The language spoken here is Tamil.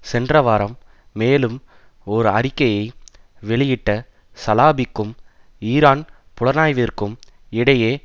சென்ற வாரம் மேலும் ஒரு அறிக்கையை வெளியிட்ட சலாபிக்கும் ஈரான் புலனாய்விற்கும் இடையே